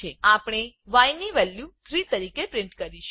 આપણે yની વેલ્યુ 3તરીકે પ્રિન્ટ કરીએ છીએ